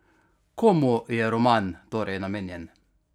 Komu je roman torej namenjen?